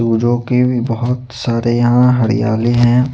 वो जो के बहत सारे यहाँ हरियाली है।